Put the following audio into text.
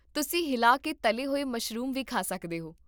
ਤੁਸੀਂ ਹਿਲਾ ਕੇ ਤਲੇ ਹੋਏ ਮਸ਼ਰੂਮ ਵੀ ਖਾ ਸਕਦੇ ਹੋ